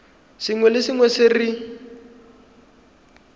sengwe le sengwe se re